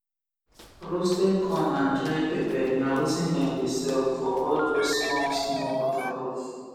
roasted corn and dry pepper na wetin dem de sell for all those small small waterproof